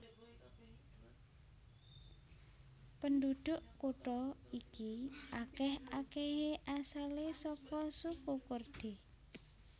Pendhudhuk kutha iki akèh akèhé asalé saka suku Kurdi